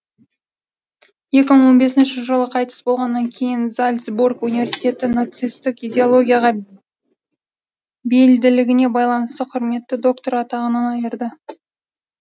екі мың он бесінші жылы қайтыс болғаннан кейін зальцбург университеті нацистік идеологияға бейілділігіне байланысты құрметті докторы атағынан айырды